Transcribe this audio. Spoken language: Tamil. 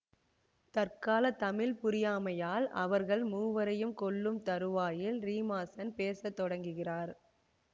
தற்கால தமிழ் புரியாமையால் அவர்கள் மூவரையும் கொல்லும் தறுவாயில் ரீமாசென் பேச தொடங்குகிறார்